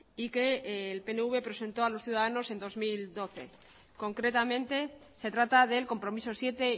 y que el pnv presentó a los ciudadanos en dos mil doce concretamente se trata del compromiso siete